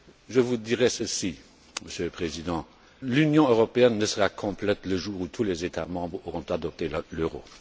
Je vous dirai ceci, Monsieur le Président, l'Union européenne ne sera complète que le jour où tous les États membres auront adopté l'euro.